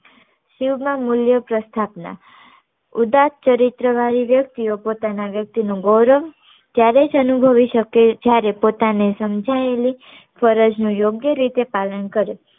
શિવ માન મુલ્ય પ્રસ્થાપના ઉદાસ ચરિત્ર વાળી વ્યક્તિઓ પોતાના વ્યક્તિ નું ગૌરવ ત્યારે જ અનુભવી શકે જયારે પોતાની સમાંજયેલી ફરજ નું યોગ્ય રીતે પાલન કરે